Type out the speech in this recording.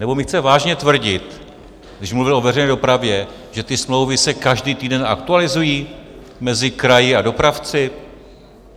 Nebo mi chce vážně tvrdit, když mluvil o veřejné dopravě, že ty smlouvy se každý týden aktualizují mezi kraji a dopravci?